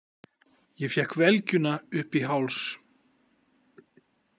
Ég fékk velgjuna upp í háls.